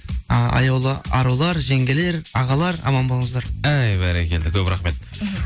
і аяулы арулар жеңгелер ағалар аман болыңыздар эй бәрекелді көп рахмет мхм